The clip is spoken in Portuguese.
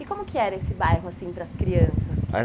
E como que era esse bairro assim para as crianças? Ah